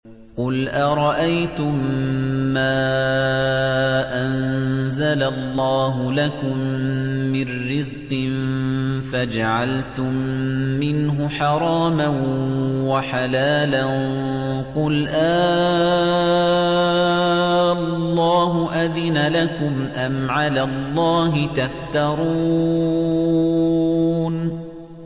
قُلْ أَرَأَيْتُم مَّا أَنزَلَ اللَّهُ لَكُم مِّن رِّزْقٍ فَجَعَلْتُم مِّنْهُ حَرَامًا وَحَلَالًا قُلْ آللَّهُ أَذِنَ لَكُمْ ۖ أَمْ عَلَى اللَّهِ تَفْتَرُونَ